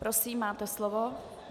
Prosím, máte slovo.